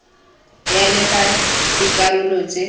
ya le fa dikarolo tse